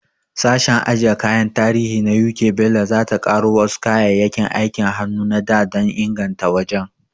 Sashen ajiye kayan tarihi na U.K Bello, za ta ƙaro wasu kayayyakin aikin hannu na da dan inganta wajen.